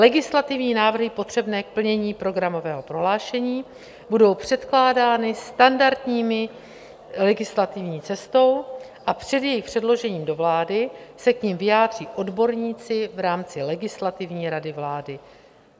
Legislativní návrhy potřebné k plnění programového prohlášení budou předkládány standardní legislativní cestou a před jejich předložením do vlády se k nim vyjádří odborníci v rámci Legislativní rady vlády.